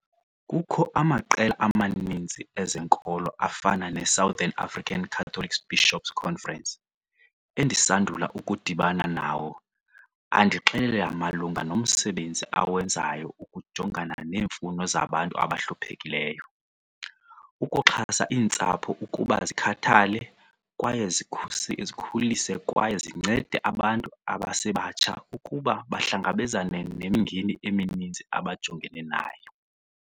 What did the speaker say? Kukho amaqela amaninzi ezenkolo afana neSouthern African Catholic Bishop's Conference, endisandula ukudibana nawo andixelele malunga nomsebenzi awenzayo ukujongana neemfuno zabantu abahluphekileyo, ukuxhasa iintsapho ukuba zikhathale kwaye zikhulise kwaye zincede abantu abasebatsha ukuba bahlangabezane nemingeni emininzi abajongene nayo.